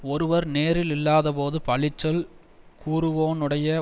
ஒருவர் நேரில் இல்லாதபோது பழிச்சொல் கூறுவோனுடைய